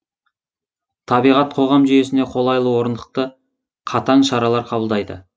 табиғат қоғам жүйесіне қолайлы орнықты катаң шаралар кабылдайды